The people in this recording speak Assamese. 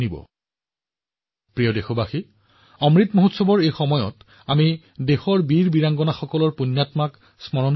মৰমৰ দেশবাসীসকল বৰ্তমান আমি অমৃত মহোৎসৱত দেশৰ বীৰ পুত্ৰকন্যাসকলক স্মৰণ কৰি আছো